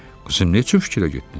Qızım, neçün fikrə getdin?